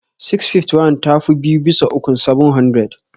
651 ta fi biyu bisa ukun 700.